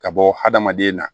Ka bɔ hadamaden na